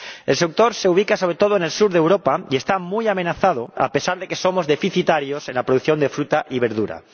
El sector se ubica sobre todo en el sur de Europa y está muy amenazado, a pesar de que somos deficitarios en la producción de fruta y verdura.